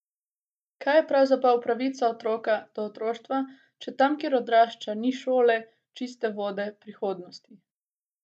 Kaj je pravzaprav pravica otroka do otroštva, če tam, kjer odrašča, ni šole, čiste vode, prihodnosti?